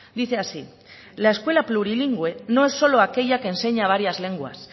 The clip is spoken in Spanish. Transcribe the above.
dice así la escuela plurilingüe no es solo aquella que enseña varias lenguas